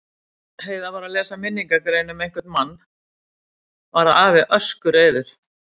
Heiða var að lesa minningargrein um einhvern mann varð afi öskureiður.